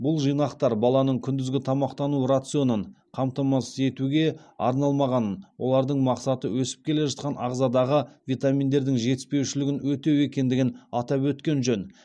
бұл жинақтар баланың күндізгі тамақтану рационын қамтамасыз етуге арналмағанын олардың мақсаты өсіп келе жатқан ағзадағы витаминдердің жетіспеушілігін өтеу екендігін атап өткен жөн